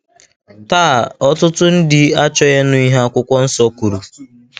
Taa, ọtụtụ ndị achọghị ịnụ ihe akwụkwọ nsọ kwuru.